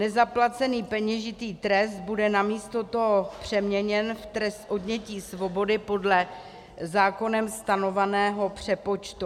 Nezaplacený peněžitý trest bude namísto toho přeměněn v trest odnětí svobody podle zákonem stanoveného přepočtu.